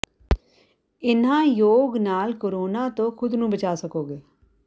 ਇਨ੍ਹਾਂ ਯੋਗ ਨਾਲ ਕੋਰੋਾ ਤੋਂ ਖ਼ੁਦ ਨੂੰ ਬਚਾਅ ਸਕੋਗੇ